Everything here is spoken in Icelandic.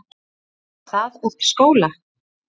Er það eftir skóla?